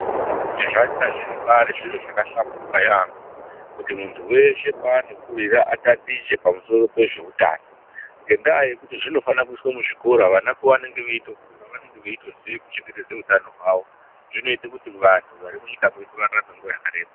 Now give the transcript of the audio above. Ndinofunga kuti zvanga zviripari zviro zvakahlamburuka yambo kuti muntu weshe paanokurira atatiche pamusoro pezve utano ngendaaya yekuti zvinofanira kuiswe muzvikora vana pavanenge veitokura vanenge veitoziya kuchengetedza utano hwawo zvinoita kuti vantu varimunyika medu vararame nguwa yakareba.